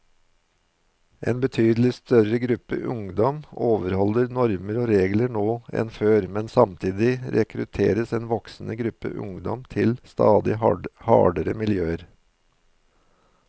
En betydelig større gruppe ungdom overholder normer og regler nå enn før, men samtidig rekrutteres en voksende gruppe ungdom til stadig hardere miljøer.